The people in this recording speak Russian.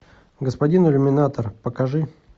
господин иллюминатор покажи